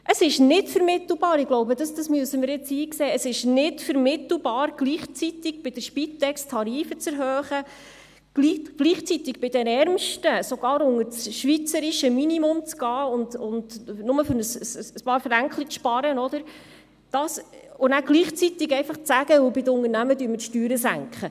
Es ist nicht vermittelbar – ich glaube, das müssen wir jetzt einsehen –, bei der Spitex Tarife zu erhöhen, bei den Ärmsten unter das schweizerische Minimum zu gehen, nur um ein paar «Fränkli» zu sparen, und gleichzeitig zu sagen, bei den Unternehmen senken wir jetzt die Steuern.